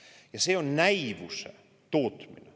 Ja see on näivuse tootmine.